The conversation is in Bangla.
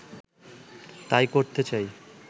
তাই করতে চাই